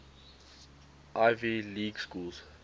ivy league schools